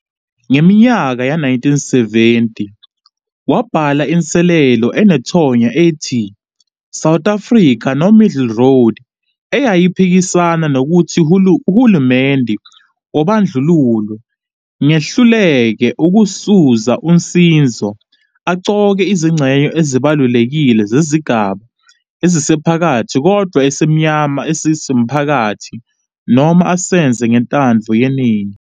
Ngeminyaka yama-1970 wabhala inselelo enethonya ethi "South Africa - No Middle Road", eyayiphikisana nokuthi uhulumeni wobandlululo ngehluleke ukuzuza uzinzo, aqoke izingxenye ezibalulekile zesigaba esiphakathi kodwa esimnyama esimaphakathi, noma asenze ngentando yeningi.